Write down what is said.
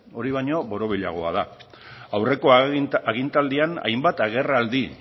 hori baino borobilagoa da aurreko agintaldian hainbat agerraldi